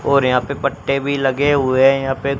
और यहां पे पत्ते भी लगे हुए हैं यहां पे--